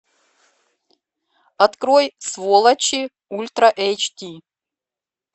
открой сволочи ультра эйч ди